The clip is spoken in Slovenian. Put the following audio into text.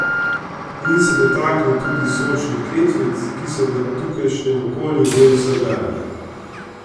In se dotaknil tudi sočnih kletvic, ki so v tukajšnjem okolju del vsakdana.